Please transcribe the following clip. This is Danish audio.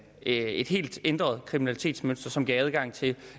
et helt ændret kriminalitetsmønster som giver adgang til